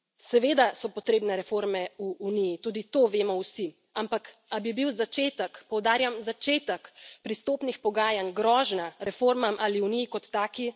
Seveda so potrebne reforme v Uniji, tudi to vemo vsi, ampak, a bi bil začetek, poudarjam začetek, pristopnih pogajanj grožnja reformam ali Uniji kot taki?